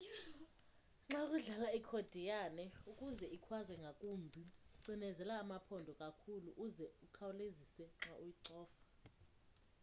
xa udlala ikhodiyane ukuze ikhwaze ngakumbi cinezela amaphondo kakhulu uze ukhawulezise xa uyicofa